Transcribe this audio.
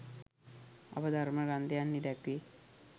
අප ධර්ම ග්‍රන්ථයන්හි දැක්වේ.